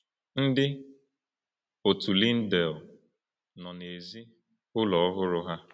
Ndị otu Lyndale nọ n’èzí ụlọ ọhụrụ ha.